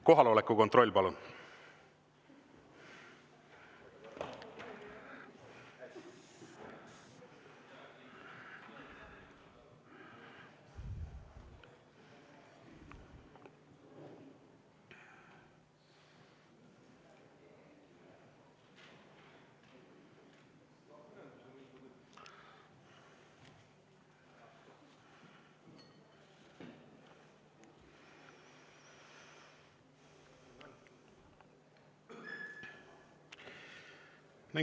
Kohaloleku kontroll, palun!